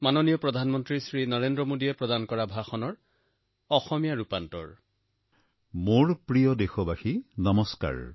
মোৰ প্ৰিয় দেশবাসী নমস্কাৰ